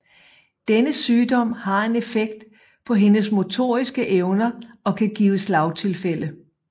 Denne sygdom har en effekt på hendes motoriske evner og kan give slagtilfælde